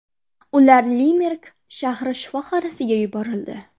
Ular Limerik shahri shifoxonasiga yuborildi.